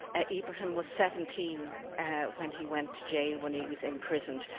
Ibrahim was 17 when he went to jail, when he was imprisoned.